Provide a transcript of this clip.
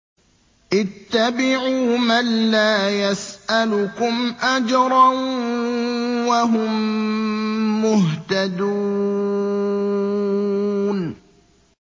اتَّبِعُوا مَن لَّا يَسْأَلُكُمْ أَجْرًا وَهُم مُّهْتَدُونَ